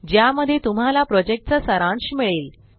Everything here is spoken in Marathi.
ज्यामध्ये तुम्हाला प्रॉजेक्टचा सारांश मिळेल